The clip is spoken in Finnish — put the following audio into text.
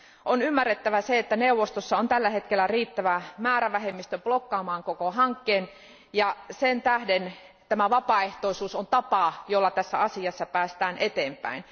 On ymmärrettävä se, että neuvostossa on tällä hetkellä riittävä määrävähemmistö blokkaamaan koko hankkeen, ja sen vuoksi tämä vapaaehtoisuus on tapa, jolla tässä asiassa päästään eteenpäin.